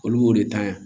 Olu b'o de ta yan